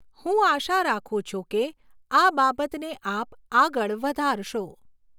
હું આશા રાખું છું કે, આ બાબતને આપ આગળ વધારશો.